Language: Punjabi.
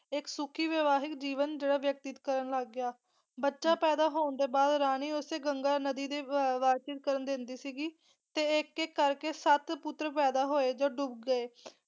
ਇੱਕ ਸੁਖੀ ਵਿਵਾਹਿਤ ਜੀਵਨ ਜੋ ਆ ਬਤੀਤ ਕਰਨ ਲੱਗ ਗਿਆ, ਬੱਚਾ ਪੈਦਾ ਹੋਣ ਦੇ ਬਾਅਦ ਰਾਣੀ ਉਸ ਗੰਗਾ ਨਦੀ ਦੇ ਵ ਕਰਨ ਦਿੰਦੀ ਸੀਗੀ ਤੇ ਇੱਕ ਇੱਕ ਕਰਕੇ ਸੱਤ ਪੁੱਤਰ ਪੈਦਾ ਹੋਏ ਤੇ ਉਹ ਡੁੱਬ ਗਏ।